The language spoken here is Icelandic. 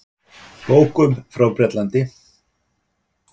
Bókum frá Bretlandi.